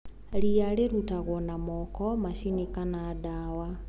Ria rirutagwo na moko, macini kana dawa.